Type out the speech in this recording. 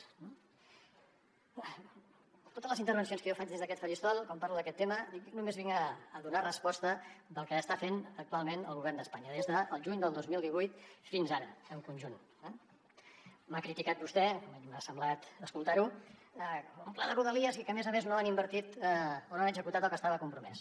en totes les intervencions que jo faig des d’aquest faristol quan parlo d’aquest tema dic només vinc a donar resposta del que està fent actualment el govern d’espanya des del juny del dos mil divuit fins ara en conjunt eh m’ha criticat vostè almenys m’ha semblat escoltar ho un pla de rodalies i que a més a més no han invertit o no han executat el que estava compromès